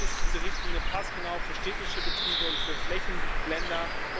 Damit ist diese Richtlinie passgenau für städtische Betriebe und für Flächenländer.